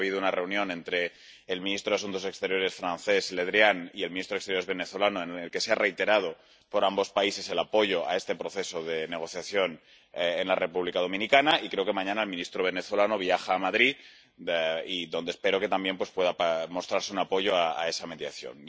Hoy ha habido una reunión entre el ministro de Asuntos Exteriores francés Le Drian y el ministro de Asuntos Exteriores venezolano, en la que han reiterado ambos países el apoyo a este proceso de negociación en la República Dominicana, y creo que mañana el ministro venezolano viaja a Madrid, donde espero que también pueda mostrarse un apoyo a esa mediación.